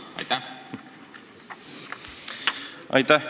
Aitäh!